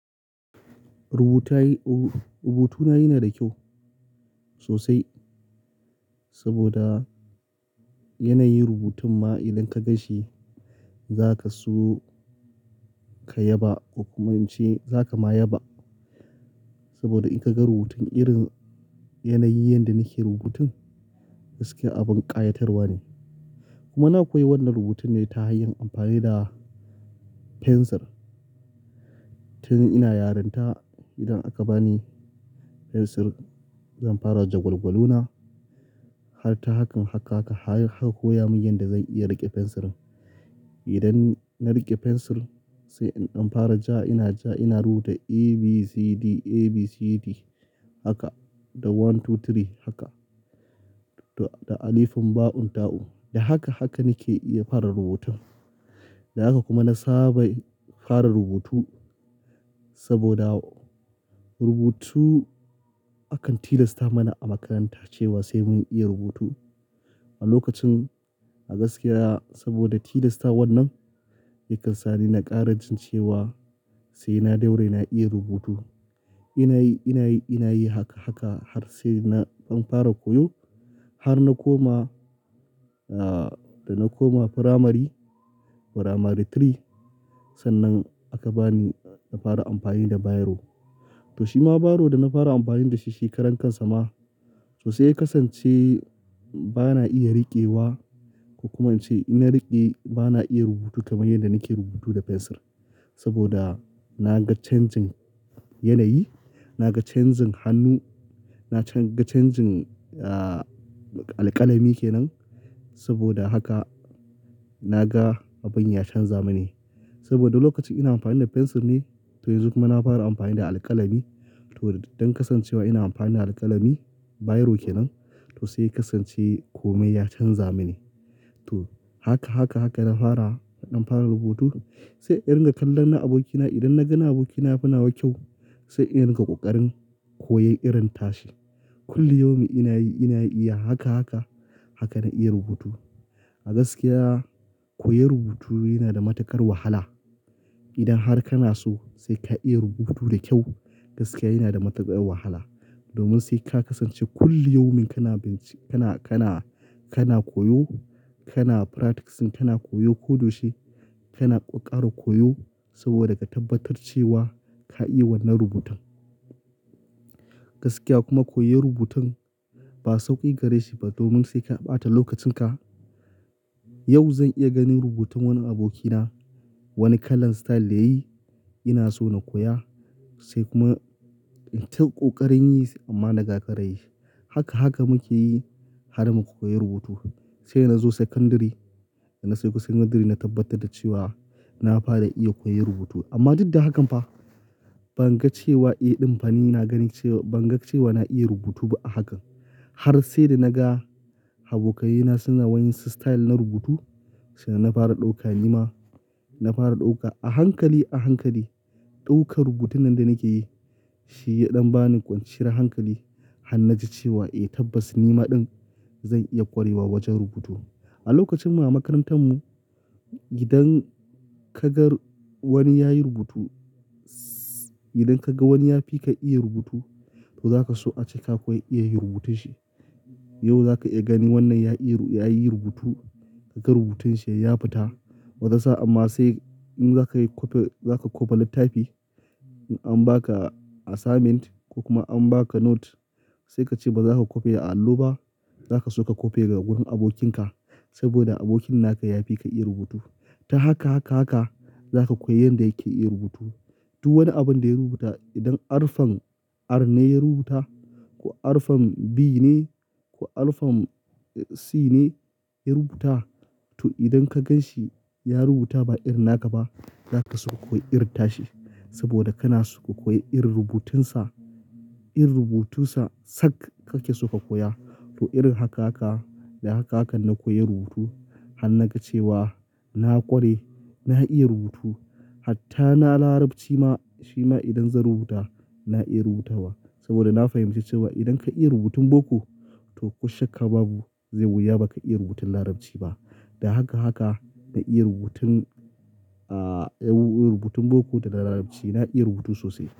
Rubutayi-- ru rubutuna yana da kyau sosai saboda yanayin rubutun ma idan ka gan shi zaka so ka yaba ko kuma ince za ka ma yaba. Saboda in ka ga rubutun irin yanayin yanda nake rubutun gaskiya abin ƙayatarwa ne. Kuma na koyi wannan rubutun ne ta hanyar amfani da fensir. Tun ina yarinta idan aka bani fensir zan fara jagwalgwalo na har ta hakan haka haka har ka koya mun yanda zan iya riƙe fensirin. Idan na riƙe fensir sai in ɗan fara ja ina ja ina rubuta A, B, C, D, A, B, C, D haka da one, two, three haka da alifun, ba'un, ta'un. Da haka haka nake iya fara rubutun. Da haka kuma na saba yi fara rubutu saboda rubutu akan tilasta mana a makaranta cewa sai mun iya rubutu. A lokacin a gaskiya saboda tilasta wannan yakan sa ni na ƙara jin cewa sai na daure na iya rubutu. Ina yi, ina yi, ina yi haka haka har sai na ɗan fara koyo har na koma, ah, da na koma firamari, firamari three sannan aka bani na fara amfani da biro. To shi ma biro da na fara amfani da shi shi karan kansa ma so sai ya kasance ba na iya riƙewa ko kuma ince in na riƙe ba na iya rubutu kamar yadda nake rubutu da fensir. Saboda na ga changing yanayi, na ga changing hannu, na can-- ga changing, ah, alƙalami kenan saboda haka na ga abin ya canza mini. Saboda lokacin ina amfani da fensir ne to yanzu kuma na fara amfani da alƙalami to don kasancewa ina amfani da alƙalami biro kenan to sai ya kasance komai ya canza mini. To haka, haka, haka na fara, na ɗan fara rubutu sai in ga kallon na abokina idan na ga na abokina yafi nawa kyau sai in riƙa ƙoƙarin koyon irin tashi. Kulli yaumin ina yi, ina yi iya haka, haka, haka na iya rubutu. A gaskiya koyon rubutu yana da matuƙar wahala. Idan har kana so sai ka iya rubutu da kyau gaskiya yana da matuƙar wahala. Domin sai ka kasance kulli yaumin kana binci, kana, kana, kana koyo, kana practicing, kana koyo ko da yaushe, kana ƙoƙara koyo saboda ka tabbatar cewa ka iya wannan rubutun. Gaskiya kuma koyon rubutun ba sauƙi gare shi ba domin sai ka ɓata lokacin ka. Yau zan iya ganin rubutun wani abokina, wani kalan style da yayi ina so na koya sai kuma in ta ƙoƙarin yi amma nagagara yi. Haka, haka mukeyi har muka koyi rubutu. Saida na zo sakandari, na so kusandari na tabbatar da cewa na fara iya koyon rubutu. Amma duk da hakan fa ban ga cewa, eh, ɗin fa ni ina gani cewa ban ga cewa na iya rubutu ba a hakan. Har sai da naga abokai na suna wani style na rubutu sannan na fara ɗauka ni ma, na fara ɗauka a hankali, a hankali. Ɗaukar rubutun nan da nake yi shi ya ɗan bani kwanciyar hankali har naji cewa, eh, tabbas ni ma ɗin zan iya ƙwarewa wajen rubutu. A lokacin mu a makarantar mu idan ka gan wani yayi rubutu, idan ka ga wani ya fi ka iya rubutu to za ka so ace ka koyi iya yin rubutun shi. Yau za ka iya gani wannan ya iya, yayi rubutu ka ga rubutun shi ya fita wata sa'an amma sai in za ka yi copy, za ka copy littafi in an ba ka assignment ko kuma an ba ka note sai ka ce ba za ka kope a allo ba, za ka so ka kope daga gurin abokin ka saboda abokin naka ya fi ka iya rubutu. Ta haka, haka, haka za ka koyi yanda yake iya rubutu. Duk wani abun da ya rubuta idan arfan Ar ne ya rubuta ko arfan B ne ko arfan, eh, C ne ya rubuta to idan ka gan shi ya rubuta ba irin naka ba za ka so ka koyi irin tashi saboda kana so ka koyi irin rubutun sa. Irin rubutu sa sak ka ke so ka koya. To irin haka haka, da haka haka na koyi rubutu har na ga cewa na ƙware, na iya rubutu. Hatta na Larabci ma, shi ma idan zan rubuta na iya rubuta wa saboda na fahimci cewa idan ka iya rubutun boko to ko shakka babu zai wuya ba ka iya rubutun Larabci ba. Da haka, haka na iya rubutun, ah, rubutun boko da Larabci na iya rubutu sosai.